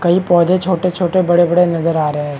कई पौधे छोटे छोटे बड़े बड़े नजर आ रहे हैं।